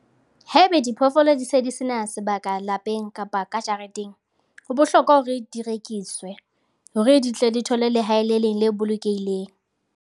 Haebe diphoofolo di se di sena sebaka lapeng kapa ka jareteng, ho bohlokwa hore di rekiswe hore di tle di thole lehae le leng le bolokehileng.